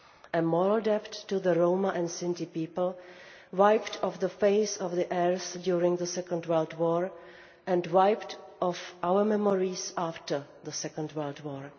A moral debt to the Roma and Sinti people, wiped off the face of the earth during the Second World War, and wiped from our memories after the Second World War.